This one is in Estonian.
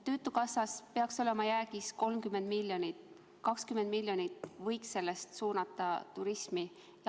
Töötukassas peaks olema jäägis 30 miljonit, 20 miljonit sellest võiks suunata turismi.